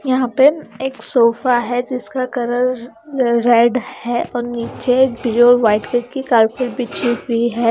यहां पे एक सोफा है जिसका कलर र रेड है और नीचे ब्लू और वाइट कलर की कारपेट बिछी हुई हैं।